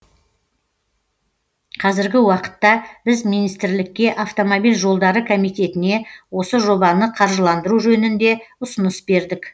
қазіргі уақытта біз министрлікке автомобиль жолдары комитетіне осы жобаны қаржыландыру жөнінде ұсыныс бердік